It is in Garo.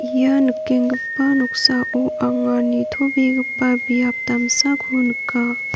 ia nikenggipa noksao anga nitobegipa biap damsako nika.